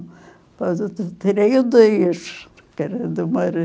Depois eu ti tirei o dez, que era do